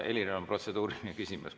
Heliril on protseduuriline küsimus.